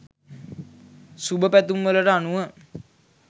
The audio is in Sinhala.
සුභපැතුම් වලට අනුව